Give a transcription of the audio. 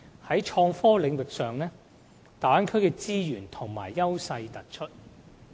在創科領域上，大灣區的資源和優勢突出。